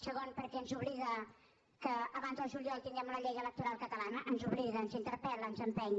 segon perquè ens obliga que abans del juliol tinguem una llei electoral catalana ens obliga ens interpel·la ens empeny